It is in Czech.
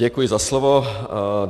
Děkuji za slovo.